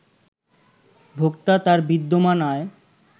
ভোক্তা, তার বিদ্যমান আয়